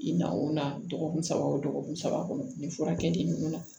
I nakun na dɔgɔkun saba o dɔgɔkun saba kɔnɔ ni furakɛli ninnu na